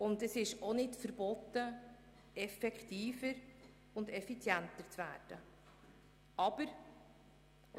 Und es ist auch nicht verboten, effektiver und effizienter zu werden.